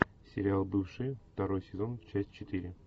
сериал бывшие второй сезон часть четыре